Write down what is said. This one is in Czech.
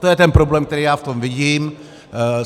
To je ten problém, který já v tom vidím.